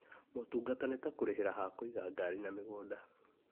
Motungata nĩ ta kũrĩhĩra ha kũiga ngari na migũnda